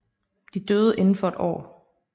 De døde inden for et år